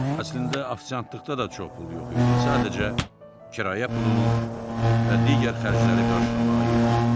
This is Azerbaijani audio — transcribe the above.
Əslində ofisiantlıqda da çox pul yox idi, sadəcə kirayə pulunu və digər xərcləri qarşılamağa yetirdi.